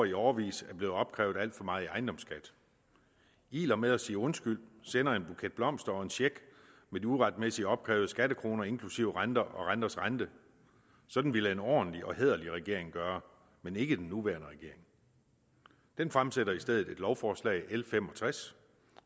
i årevis er blevet opkrævet alt for meget i ejendomsskat iler med at sige undskyld sender en buket blomster og en check med de uretmæssigt opkrævede skattekroner inklusive renter og renters rente sådan ville en ordentlig og hæderlig regering gøre men ikke den nuværende regering den fremsætter i stedet lovforslag l fem og tres